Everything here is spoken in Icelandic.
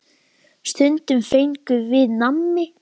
Stundum fengum við nammi.